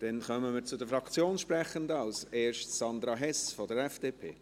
Wir kommen zu den Fraktionssprechenden: als Erste Sandra Hess von der FDP.